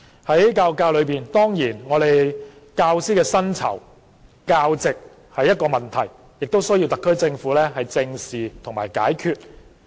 在教育界內，教師的薪酬和教席是問題，需要特區政府正視和解決。